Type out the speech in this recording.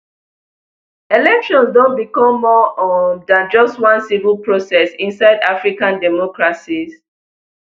elections don become more um than just one civil process inside african democracies